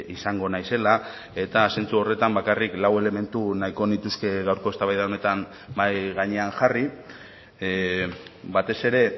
izango naizela eta zentzu horretan bakarrik lau elementu nahiko nituzke gaurko eztabaida honetan mahai gainean jarri batez ere